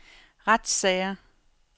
retssager